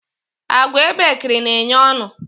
Àgwà ebekiri na enye ọṅụ